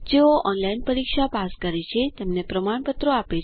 જેઓ ઓનલાઇન પરીક્ષા પાસ કરે છે તેમને પ્રમાણપત્ર આપે છે